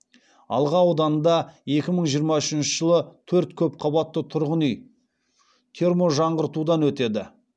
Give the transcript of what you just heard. алға ауданында екі мың жиырма үшінші жылы төрт көп қабатты тұрғын үй терможаңғыртудан өтеді